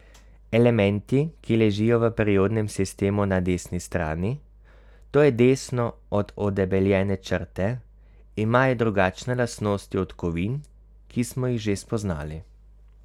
Elementi, ki ležijo v periodnem sistemu na desni strani, to je desno od odebeljene črte, imajo drugačne lastnosti od kovin, ki smo jih že spoznali.